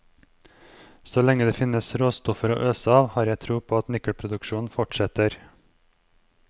Så lenge det finnes råstoffer å øse av, har jeg tro på at nikkelproduksjonen fortsetter.